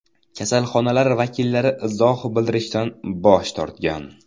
Kasalxonalar vakillari izoh bildirishdan bosh tortgan.